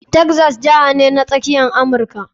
Texas jiha ce a yankin Kudu ta Tsakiya na Amurka.